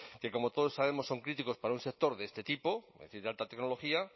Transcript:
que como todos sabemos son críticos para un sector de este tipo es decir de alta tecnología